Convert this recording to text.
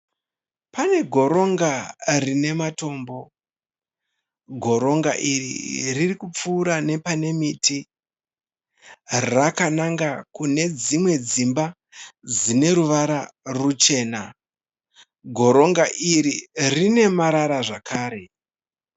Pane goronga rine matombo, goronga iri ririkupfuura nepane miti rakananga kune dzimwe dzimba dzine ruvara ruchena, goronga iri rine marara zvakare.